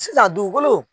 Sisan dugukolo